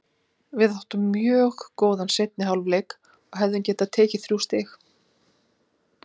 Við áttum mjög góðan seinni hálfleik og hefðum getað tekið þrjú stig.